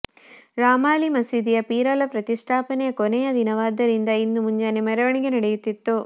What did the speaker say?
ರಾಮಾಲಿ ಮಸೀದಿಯ ಪೀರಲ ಪ್ರತಿಷ್ಠಾಪನೆಯ ಕೊನೆಯ ದಿನವಾದ್ದರಿಂದ ಇಂದು ಮುಂಜಾನೆ ಮೆರವಣಿಗೆ ನಡೆಯುತ್ತಿತ್ತು